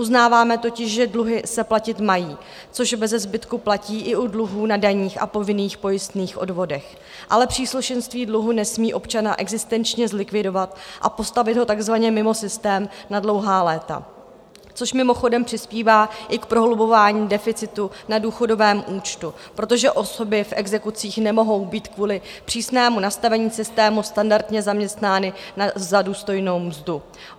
Uznáváme totiž, že dluhy se platit mají, což beze zbytku platí i u dluhů na daních a povinných pojistných odvodech, ale příslušenství dluhu nesmí občana existenčně zlikvidovat a postavit ho takzvaně mimo systém na dlouhá léta, což mimochodem přispívá i k prohlubování deficitu na důchodovém účtu, protože osoby v exekucích nemohou být kvůli přísnému nastavení systému standardně zaměstnány za důstojnou mzdu.